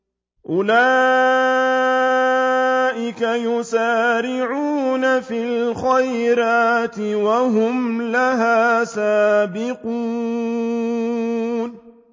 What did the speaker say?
أُولَٰئِكَ يُسَارِعُونَ فِي الْخَيْرَاتِ وَهُمْ لَهَا سَابِقُونَ